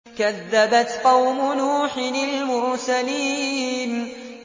كَذَّبَتْ قَوْمُ نُوحٍ الْمُرْسَلِينَ